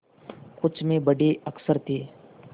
कुछ में बड़े अक्षर थे